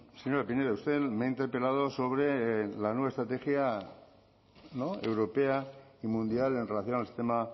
señora pinedo usted me ha interpelado sobre la nueva estrategia europea y mundial en relación al sistema